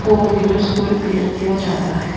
Four wheelers को repair किया जाता है।